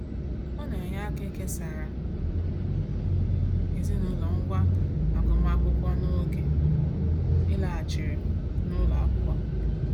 Ọ na-enye aka ikesara ezinaụlọ ngwá agụmaakwụkwọ n'oge ịlaghachi n'ụlọ akwụkwọ.